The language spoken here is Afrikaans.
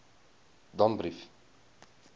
danbrief